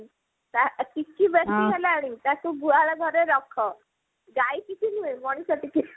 ଟିକି ବେସୀ ହେଲାଣି ତାକୁ ଗୁହାଳ ଘରେ ରଖ ଗାଈ ଟିକି ନୁହ ମଣିଷ ଟିକି